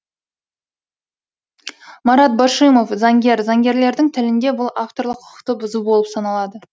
марат башимов заңгер заңгерлердің тілінде бұл авторлық құқықты бұзу болып саналады